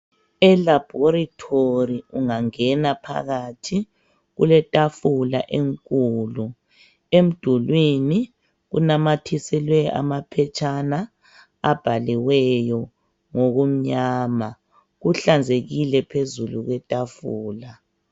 Elaborethori ungangena phakathi kuletafula enkulu, emdulwini kunamathiselwe amaphetshana abhaliweyo ngokumnyama. Kuhlanzekile phezulu kwetafula.